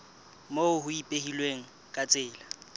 moo ho ipehilweng ka tsela